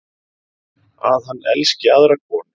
Að hann elski aðra konu.